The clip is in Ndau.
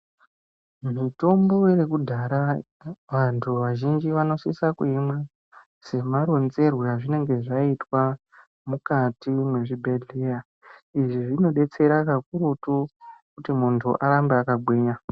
Mutombo yekudhara vantu vazhinji vanosisa kuimwa semaronzerwe azvinenge zvaitwa mukati mwezvibhedhleya. Izvi zvinobetsera kakurutu kuti muntu arambe akagwinya.